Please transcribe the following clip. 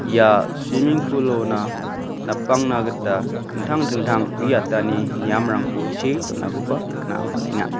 ia suiming pool-ona napangna gita dingtang dingtang uiatani niamrangko see donakoba nikna man·enga.